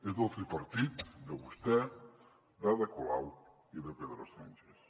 és del tripartit de vostè d’ada colau i de pedro sánchez